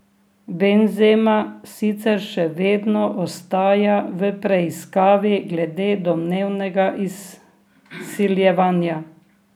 Benzema sicer še vedno ostaja v preiskavi glede domnevnega izsiljevanja.